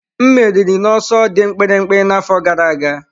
M meriri n'ọsọ dị mkpirikpi n'afọ gara aga.